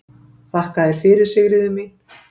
Þakka þér fyrir, Sigríður mín.